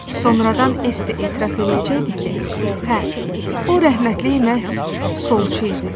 Sonradan Es etiraf eləyəcəkdi ki, hə, o rəhmətli məhz solçu idi.